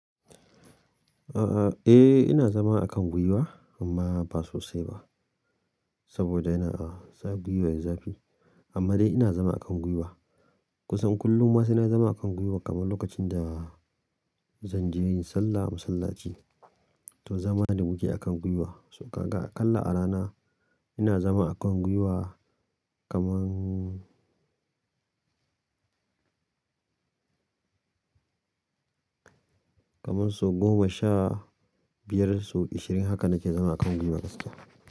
A'a, eh ina zama a kan gwiwa amma ba sosai ba. Saboda yana a sa gwiwa ya zafi. Amma dai ina zama a kan gwiwa. Kusan kullum ma sai na zama a kan gwiwa kamar lokacin da zan je yin sallah a masallaci. To zama da muke a kan gwiwa. So ka ga a kalla a rana ina zama a kan gwiwa kaman, kaman so goma sha biyar, so ashirin hakan nake zama a kan gwiwa kasuwa.